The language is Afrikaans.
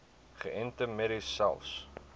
geënte merries selfs